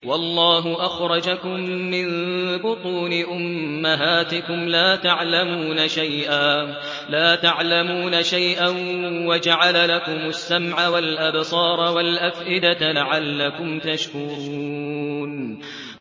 وَاللَّهُ أَخْرَجَكُم مِّن بُطُونِ أُمَّهَاتِكُمْ لَا تَعْلَمُونَ شَيْئًا وَجَعَلَ لَكُمُ السَّمْعَ وَالْأَبْصَارَ وَالْأَفْئِدَةَ ۙ لَعَلَّكُمْ تَشْكُرُونَ